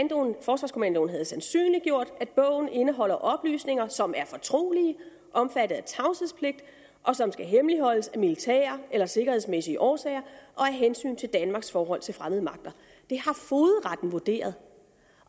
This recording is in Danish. forsvarskommandoen havde sandsynliggjort at bogen indeholder oplysninger som er fortrolige omfattet af tavshedspligt og som skal hemmeligholdes af militære eller sikkerhedsmæssige årsager og af hensyn til danmarks forhold til fremmede magter det har fogedretten vurderet